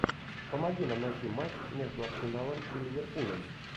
помоги нам найти матч между арсеналом и ливерпулем